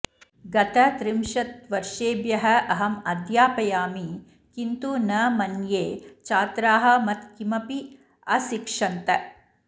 गत त्रिंशत्वर्षेभ्यः अहं अध्यापयामि किन्तु न मन्ये छात्राः मत् किमपि अशिक्षन्त